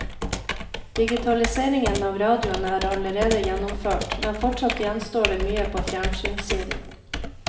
Digitaliseringen av radioen er allerede gjennomført, men fortsatt gjenstår det mye på fjernsynssiden.